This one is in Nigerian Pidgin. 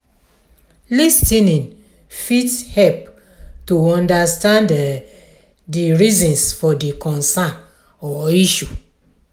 lis ten ing fit help to understand di reasons for di concern or issue